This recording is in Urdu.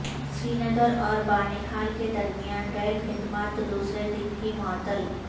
سری نگر اور بانہال کے درمیان ریل خدمات دوسرے دن بھی معطل